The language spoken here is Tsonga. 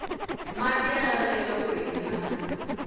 mati ya laveka kuri hi hanya